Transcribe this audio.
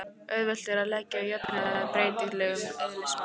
Auðvelt er að laga jöfnuna að breytilegum eðlismassa.